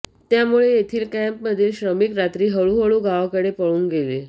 त्यामुळे येथील कॅम्पमधील श्रमिक रात्रीत हळूहळू गावाकडे पळून गेले